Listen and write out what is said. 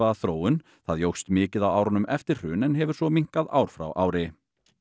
þróun það jókst mikið á árunum eftir hrun en hefur svo minnkað ár frá ári